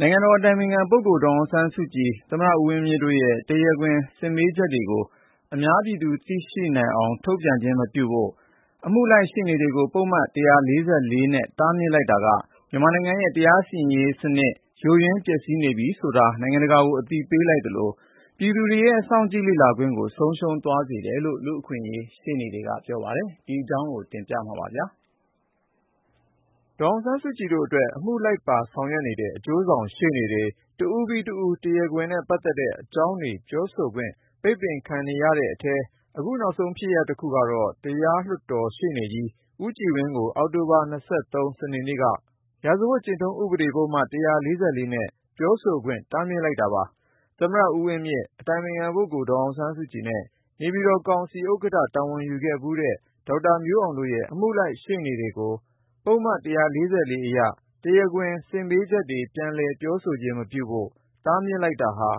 နိုင်ငံတော်အတိုင်ပင်ခံပုဂ္ဂိုလ် ဒေါ်အောင်ဆန်းစုကြည်၊ သမ္မတ ဦးဝင်းမြင့်တို့ရဲ့ တရားခွင် စစ်မေးချက်တွေကို အများပြည်သူသိရှိအောင် ထုတ်ပြန်ခြင်းမပြုဖို့ အမှုလိုက်ရှေ့နေတွေကို ပုဒ်မ ၁၄၄ နဲ့ တားမြစ်လိုက်တာက မြန်မာနိုင်ငံရဲ့ တရားစီရင်ရေးစနစ် ယိုယွင်းပျက်စီးနေပြီဆိုတာ နိုင်ငံတကာကို အသိပေးလိုက်သလို ပြည်သူတွေရဲ့ စောင့်ကြည့်လေ့လာခွင့်ကိုလည်း ဆုံးရှုံးသွားစေတယ်လို့ လူ့အခွင့်အရေး ရှေ့နေတချို့က သုံးသပ်ပါတယ်။ အပြည့်အစုံကို ကိုဉာဏ်ဝင်းအောင် တင်ပြပေးထားပါတယ်။ ဒေါ်အောင်ဆန်းစုကြည်တို့အတွက် အမှုလိုက်ပါဆောင်ရွက်နေတဲ့ အကျိုးဆောင်ရှေ့နေတွေ တဦးပြီးတဦး တရားခွင်နဲ့ပတ်သက်တဲ့ အကြောင်းတွေ ပြောဆိုခွင့် ပိတ်ပင်ခံနေရတဲ့အထဲ အခုနောက်ဆုံး ဖြစ်ရပ်တခုက တရားလွှတ်တော်ရှေ့နေကြီး ဦးကြည်ဝင်းကို အောက်တိုဘာ ၂၃ စနေနေ့က ရာဇဝတ်ကျင့်ထုံး ဥပဒေပုဒ်မ ၁၄၄ နဲ့ ပြောဆိုခွင့် တားမြစ်လိုက်တာပါ။ သမ္မတ ဦးဝင်းမြင့်၊ အတိုင်ပင်ခံပုဂ္ဂိုလ် ဒေါ်အောင်ဆန်းစုကြည်နဲ့ နေပြည်တော်ကောင်စီ ဥက္ကဋ္ဌတာဝန် ယူခဲ့ဖူးတဲ့ ဒေါက်တာမျိုးအောင်တို့ရဲ့ အမှုလိုက်ရှေ့နေတွေကို ပုဒ်မ ၁၄၄ အရ တရားခွင် စစ်မေးချက်တွေ ပြန်လည်ပြောဆိုခြင်း မပြုဖို့ တားမြစ်လိုက်တာဟာ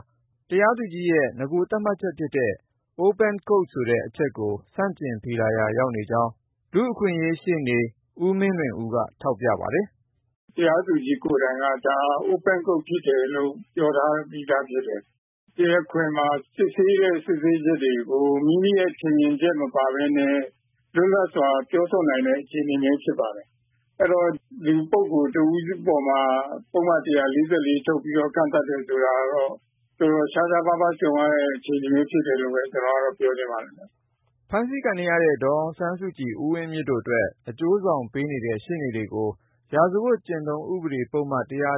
တရားသူကြီးရဲ့ နဂိုသတ်မှတ်ချက်ဖြစ်တဲ့ အများပြည်သူ ကြားနာသိရှိခွင့်ရှိတဲ့ တရားခွင် ဆိုတဲ့ အချက်ကို ဆန့်ကျင်ဖီလာရာ ရောက်နေကြောင်း လူ့အခွင့်အရေး ရှေ့နေ ဦးမင်းလွင်ဦးက ထောက်ပြပါတယ်။ “တရားသူကြီး ကိုယ်တိုင်က ဒါ Open Court ဖြစ်တယ်လို့ ပြောထားပြီးသားဖြစ်တယ်။ တရားခွင်မှာ စစ်ဆေးတဲ့ စစ်ဆေးချက်တွေကို မိမိရဲ့ထင်မြင်ချက် မပါဘဲနဲ့ လွတ်လပ်စွာ ပြောဆိုနိုင်တဲ့ အခြေအနေမျိုး ဖြစ်ပါတယ်။ အဲ့တော့ လူပုဂ္ဂိုလ်တဦးအပေါ်မှာ ပုဒ်မ ၁၄၄ ထုတ်ပြီး ကန့်သတ်တယ် ဆိုတာကတော့ တော်တော် ရှားရှားပါးပါး ကြုံရတဲ့ အခြေအနေမျိုး ဖြစ်တယ်လို့ပဲ ကျနော်ကတော့ ပြောချင်ပါတယ်။” ဖမ်းဆီးခံနေရတဲ့ ဒေါ်အောင်ဆန်းစုကြည်၊ ဦးဝင်းမြင့်တို့အတွက် အကျိုးဆောင်ပေးနေတဲ့ ရှေ့နေတွေကို ရာဇဝတ်ကျင့်ထုံး ဥပဒေပုဒ်မ ၁၄၄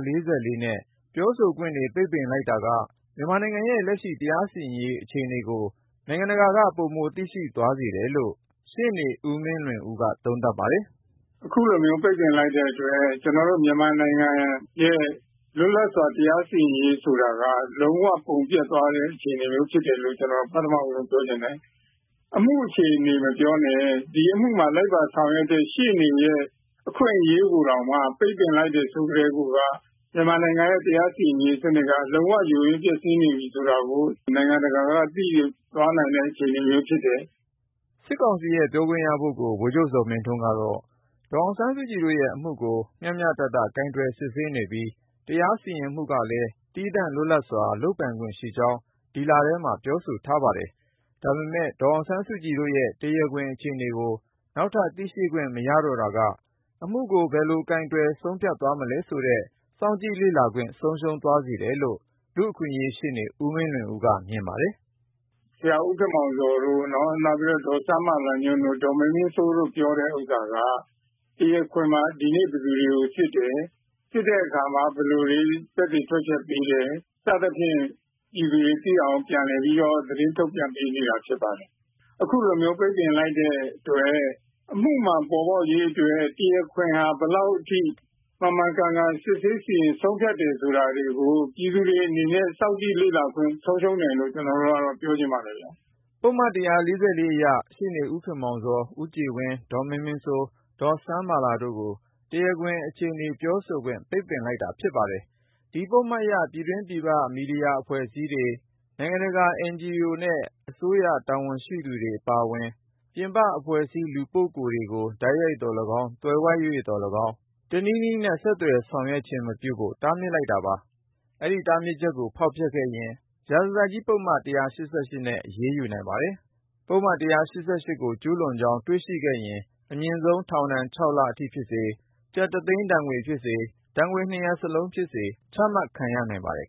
နဲ့ ပြောဆိုခွင့်တွေ ပိတ်ပင်လိုက်တာက မြန်မာနိုင်ငံရဲ့ လက်ရှိ တရားစီရင်ရေး အခြေအနေကို နိုင်ငံတကာကို ပိုမိုသိရှိသွားစေတယ်လို့ ရှေ့နေ ဦးမင်းလွင်ဦးက သုံးသပ်ပါတယ်။ “အခုလိုမျိုး ပိတ်ပင်လိုက်တဲ့အတွက် ကျနော်တို့ မြန်မာနိုင်ငံရဲ့ လွတ်လပ်စွာ တရားစီရင်ရေး ဆိုတာက လုံးဝ ပုံပျက်သွားတဲ့ အခြေအနေမျိုး ဖြစ်တယ်လို့ ကျနော် ပထမဆုံး ပြောချင်တယ်။ အမှုအခြေအနေ မပြောနဲ့၊ ဒီအမှုမှာ လိုက်ပါဆောင်ရွက်တဲ့ ရှေ့နေရဲ့ အခွင့်အရေးကိုတောင်မှ ပိတ်ပင်လိုက်တယ် ဆိုကတည်းကိုက မြန်မာနိုင်ငံရဲ့ တရားစီရင်ရေးစနစ်က လုံးဝ ယိုယွင်း ပျက်စီးနေပြီ ဆိုတာကို နိုင်ငံတကာက သိသွားနိုင်တဲ့ အခြေအနေမျိုး ဖြစ်တယ်။” စစ်ကောင်စီရဲ့ ပြောခွင့်ရပုဂ္ဂိုလ် ဗိုလ်ချုပ်ဇော်မင်းထွန်းကတော့ ဒေါ်အောင်ဆန်းစုကြည်တို့ရဲ့ အမှုကို မျှမျှတတ ကိုင်တွယ်စစ်ဆေးနေပြီး တရားစီရင်မှုကလည်း သီးသန့် လွတ်လပ်စွာ လုပ်ပိုင်ခွင့်ရှိကြောင်း ဒီလထဲမှာ ပြောဆိုထားပါတယ်။ ဒါပေမယ့် ဒေါ်အောင်ဆန်းစုကြည်တို့ရဲ့ တရားခွင်အခြေအနေကို နောက်ထပ် သိရှိခွင့် မရတော့တာက အမှုကို ဘယ်လိုကိုင်တွယ် ဆုံးဖြတ်သွားမလဲ ဆိုတဲ့ စောင့်ကြည့်လေ့လာခွင့် ဆုံးရှုံးသွားစေတယ်လို့ လူ့အခွင့်အရေးရှေ့နေ ဦးမင်းလွင်ဦးက မြင်ပါတယ်။ “ဆရာ ဦးခင်မောင်ဇော်တို့၊ ဒေါ်စန်းမာလာတို့ ဒေါ်မင်းမင်းစိုးတို့ ပြောတဲ့ဟာက တရားခွင်မှာ ဒီနေ့ ဘယ်သူတွေကို စစ်တယ်၊ စစ်တဲ့အခါ ဘယ်လိုတွေ သက်သေထွက်ချက်ပေးတယ်၊ စသဖြင့် ပြည်သူတွေသိအောင် ပြန်လည် သတင်းထုတ်ပြန်ပေးနေတာ ဖြစ်ပါတယ်။ အခုလိုမျိုး ပိတ်ပင်လိုက်တဲ့အတွက် အမှုမှန် ပေါ်ပေါက်ရေးအတွက် တရားခွင်ဟာ ဘယ်လောက်အထိ မှန်မှန်ကန်ကန် စစ်ဆေး စီရင် ဆုံးဖြတ်တယ် ဆိုတာတွေကို ပြည်သူတွေအနေနဲ့ စောင့်ကြည့်လေ့လာခွင့် ဆုံးရှုံးတယ်လို့ ကျနော်ကတော့ ပြောချင်ပါတယ်။” ပုဒ်မ ၁၄၄ အရ ရှေ့နေ ဦးခင်မောင်ဇော်၊ ဦးကြည်ဝင်း၊ ဒေါ်မင်းမင်းစိုး၊ ဒေါ်စန်းမာလာတို့ကို တရားခွင်အခြေအနေ ပြောဆိုခွင့် ပိတ်ပင်လိုက်တာ ဖြစ်ပါတယ်။ ဒီပုဒ်မအရ ပြည်တွင်းပြည်ပ မီဒီယာအဖွဲ့အစည်းတွေ၊ အပြည်ပြည်ဆိုင်ရာ အဖွဲ့အစည်းနဲ့ လူပုဂ္ဂိုလ်တွေ၊ INGO တွေ၊ နိုင်ငံခြားအစိုးရ တာဝန်ရှိသူတွေ အပါအဝင် ပြင်ပအဖွဲ့အစည်း၊ လူပုဂ္ဂိုလ် ဘယ်သူ့ကိုမှ တိုက်ရိုက်သော်လည်းကောင်း၊ သွယ်ဝိုက်၍သော်လည်းကောင်း တခြားတနည်းနည်းနဲ့ ဆက်သွယ်ဆောင်ရွက်ခြင်း မပြုဖို့ တားမြစ်လိုက်တာ ဖြစ်ပါတယ်။ ဒီတားမြစ်ချက်ကို ဖောက်ဖျက် ကျူးလွန်ရင် အမိန့်ဖီဆန်မှု ရာဇသတ်ကြီးပုဒ်မ ၁၈၈ နဲ့ အရေးယူနိုင်ပါတယ်။ ပုဒ်မ ၁၈၈ ကို ကျူးလွန်ကြောင်း တွေ့ရှိရင် အမြင့်ဆုံး ထောင်ဒဏ် ၆ လအထိဖြစ်စေ၊ ကျပ်တသိန်း ငွေဒဏ်ဖြစ်စေ၊ ဒဏ်နှစ်ရပ်လုံးဖြစ်စေ ချမှတ်ခံရနိုင်ပါတယ်